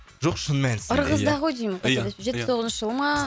жоқ шын мәнісінде ырғызда ғой деймін ия ия жетпіс тоғызыншы жылы ма